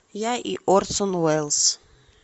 я и орсон уэллс